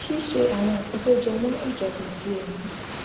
ṣíṣe àwọn nǹkan tó jẹmó ìjọsìn ti ẹmí